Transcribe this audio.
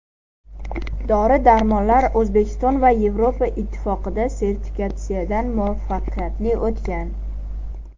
Dori-darmonlar O‘zbekiston va Yevropa Ittifoqida sertifikatsiyadan muvaffaqiyatli o‘tgan.